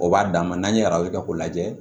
O b'a d'an ma n'an ye arajo kɛ k'o lajɛ